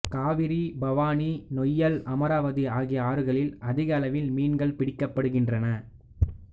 காவிரி பவானி நொய்யல் அமராவதி ஆகிய ஆறுகளில் அதிக அளவில் மீன்கள் பிடிக்கப்படுகின்றன